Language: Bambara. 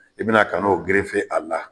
I bi na ka n'o gerefe a la.